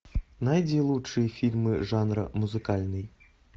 найди лучшие фильмы жанра музыкальный